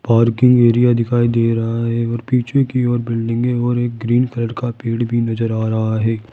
Parking area दिखाई दे रहा है और पीछे की ओर बिल्डिंगे और एक ग्रीन कलर का पेड़ भी नजर आ रहा है।